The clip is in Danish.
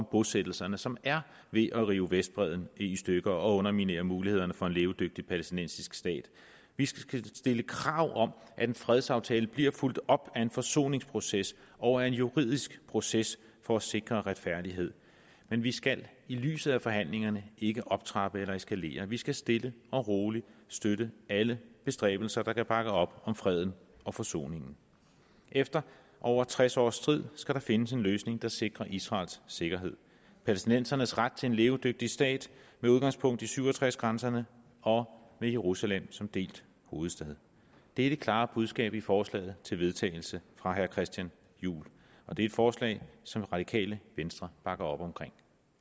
bosættelserne som er ved at rive vestbredden i stykker og underminere mulighederne for en levedygtig palæstinensisk stat vi skal stille krav om at en fredsaftale bliver fulgt op af en forsoningsproces og af en juridisk proces for at sikre retfærdighed men vi skal i lyset af forhandlingerne ikke optrappe eller eskalere vi skal stille og roligt støtte alle bestræbelser der kan bakke op om freden og forsoningen efter over tres års strid skal der findes en løsning der sikrer israels sikkerhed og palæstinensernes ret til en levedygtig stat med udgangspunkt i nitten syv og tres grænserne og med jerusalem som delt hovedstad det er det klare budskab i forslaget til vedtagelse fra herre christian juhl og det er et forslag som radikale venstre bakker op om